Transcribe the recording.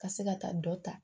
Ka se ka taa dɔ ta